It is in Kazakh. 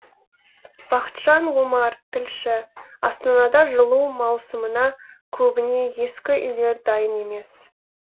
бақытжан омар тілші астанада жылу маусымына көбіне ескі үйлер дайын емес